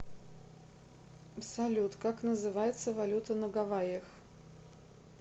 салют как называется валюта на гавайях